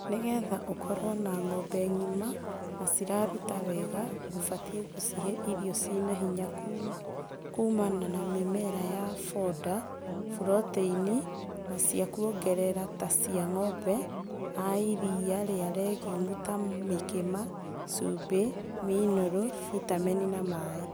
Nĩgetha ũkorwo na ng'ombe ng'ima na ciraruta wega ,ũbatie gũcihe irio cina hinya kuuma na mĩmera ya boda, buroteini na cia kũongerera ta cia ng'ombe a iria na regumu ta mũkĩma, cumbĩ, minerũ, bitamĩni na maĩ.